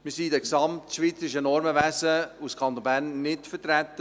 Wir sind im gesamtschweizerischen Normenwesen als Kanton Bern nicht vertreten.